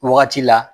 Wagati la